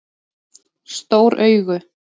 Stór augu